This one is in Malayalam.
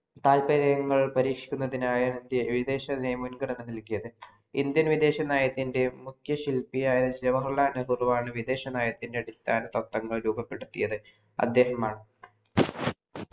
താത്പര്യങ്ങൾ പരീക്ഷിക്കുന്നതിനായി വിദേശ മുന്ഗണനങ്ങൾ കിട്ടിയത് Indian വിദേശ നയത്തിൻ്റെ ശില്പിയായ ജവഹർലാൽ നെഹ്‌റുവാണ് വിദേശ നയത്തിൻ്റെ അടിസ്ഥാന ത്വത്തങ്ങൾ രൂപപ്പെടുത്തിയത് അദ്ദേഹം